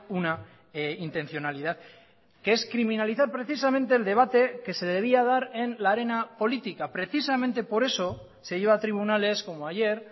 una intencionalidad que es criminalizar precisamente el debate que se debía dar en la arena política precisamente por eso se lleva a tribunales como ayer